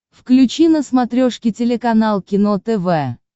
включи на смотрешке телеканал кино тв